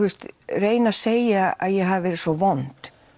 reyna að segja að ég hafi verið svo vond